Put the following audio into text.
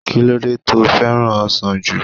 Kí lódé to fẹ́ràn ọsàn jù?